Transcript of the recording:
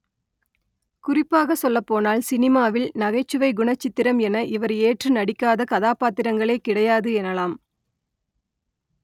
குறிப்பாக சொல்லப்போனால் சினிமாவில் நகைச்சுவை குணச்சித்திரம் என இவர் ஏற்று நடிக்காத கதாபாத்திரங்களே கிடையாது எனலாம்